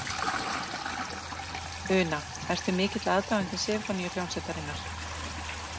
Una: Ertu mikill aðdáandi Sinfóníuhljómsveitarinnar?